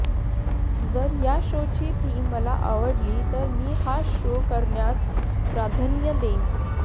जर या शोची थीम मला आवडली तर मी हा शो करण्यास प्राधान्य देईन